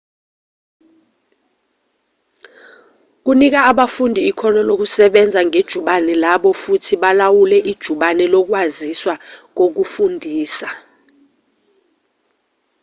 kunika abafundi ikhono lokusebenza ngejubane labo futhi balawule ijubane lokwaziswa kokufundisa